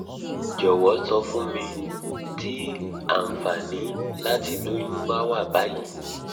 jowo so fun mi ti anfani lati loyun bawa bayii